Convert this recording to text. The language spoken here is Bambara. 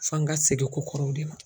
F'an ka segin kokɔrɔw de ma.